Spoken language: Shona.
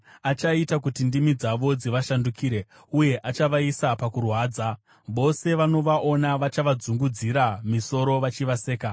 Achaita kuti ndimi dzavo dzivashandukire, uye achavaisa pakuparadzwa; vose vanovaona vachavadzungudzira misoro vachivaseka.